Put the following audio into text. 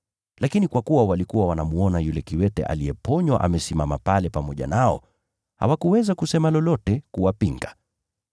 Lakini kwa kuwa walikuwa wanamwona yule kiwete aliyeponywa amesimama pale pamoja nao, hawakuweza kusema lolote kuwapinga.